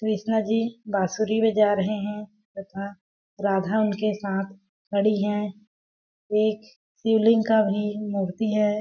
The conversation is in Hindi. कृष्णा जी बासुरी में जा रहे हैं तथा राधा उनके साथ खड़ी है एक शिवलिंग का भी मूर्ति है।